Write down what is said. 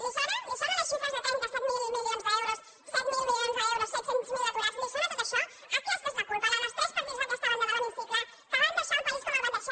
li sona li sonen les xifres de trenta set mil milions d’euros set mil milions d’euros set cents miler aturats li sona tot això aquesta és la culpa la dels tres partits d’aquesta banda de l’hemicicle que van deixar el país com el van deixar